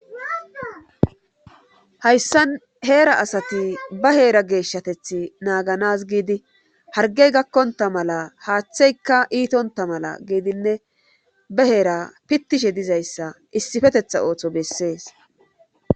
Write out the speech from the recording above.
Hayssan heera asati ba heera geeshshatethi naaganas giidi hargey gakkonta mala haaththeyka iitonta mala giidinne ba heera pittishe dizayssa issifetetha ooththo bessees